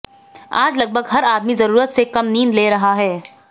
आज लगभग हर आदमी जरूरत से कम नींद ले रहा है